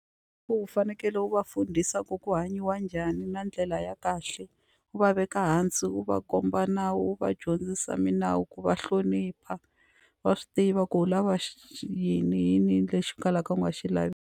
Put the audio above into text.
U fanekele u va fundisa ku ku hanyiwa njhani na ndlela ya kahle u va veka hansi u va komba nawu wu va dyondzisa milawu ku va hlonipha va swi tiva ku u lava yini i yini lexi kalaka u nga xi lavi.